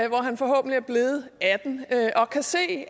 hvor han forhåbentlig er blevet atten år og kan se